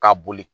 K'a boli